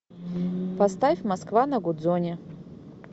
поставь москва на гудзоне